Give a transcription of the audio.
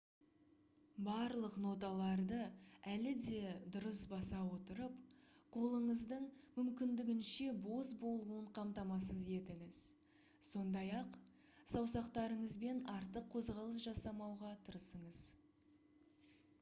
барлық ноталарды әлі де дұрыс баса отырып қолыңыздың мүмкіндігінше бос болуын қамтамасыз етіңіз сондай-ақ саусақтарыңызбен артық қозғалыс жасамауға тырысыңыз